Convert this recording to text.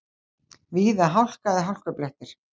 Víða hálka eða hálkublettir